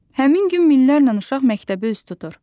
Həmin gün minlərlə uşaq məktəbə üz tutur.